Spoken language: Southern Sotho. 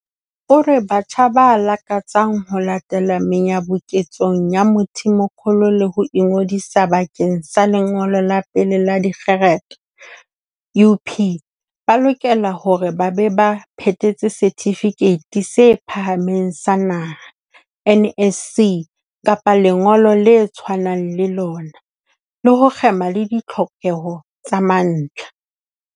O re batjha ba lakatsang ho latela menyabuketsong ya Mthimkhulu le ho ingodisa bakeng sa lengolo la pele la dikgerata UP ba lokela hore ba be ba phethetse Setifikeiti se Phahameng sa Naha NSC kapa lengolo le tshwanang le lona, le ho kgema le ditlhokeho tsa mantlha.